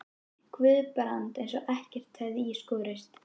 Guðbrand eins og ekkert hefði í skorist.